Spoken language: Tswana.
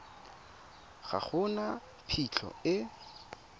ga go na phitlho e